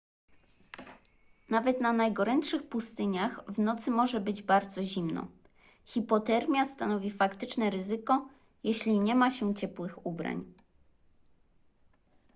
nawet na najgorętszych pustyniach w nocy może być bardzo zimno hipotermia stanowi faktyczne ryzyko jeśli nie ma się ciepłych ubrań